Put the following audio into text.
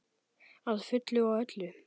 Að fullu og öllu.